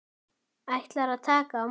Ætlar að taka á móti.